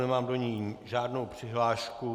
Nemám do ní žádnou přihlášku.